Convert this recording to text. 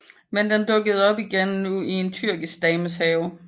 Men den dukkede op igen nu i en tyrkisk dames have